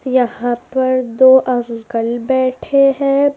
यहां पर दो अंकल बैठे हैं।